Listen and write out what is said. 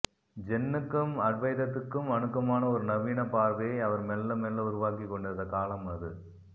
ஜென்னுக்கும் அத்வைதத்துக்கும் அணுக்கமான ஒரு நவீனப் பார்வையை அவர் மெல்ல மெல்ல உருவாக்கிக் கொண்டிருந்த காலம் அது